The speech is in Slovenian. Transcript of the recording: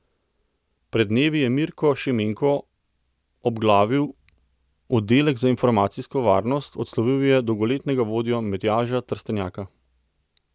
Pred dnevi je Mirko Šimenko obglavil oddelek za informacijsko varnost, odslovil je dolgoletnega vodjo Matjaža Trstenjaka.